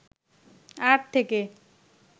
art থেকে